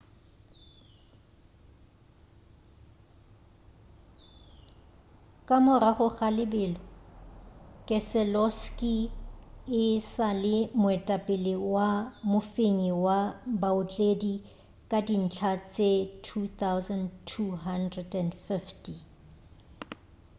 ka morago ga lebelo keseloski e sa le moetapele wa mofenyi wa baotledi ka dintlha tše 2,250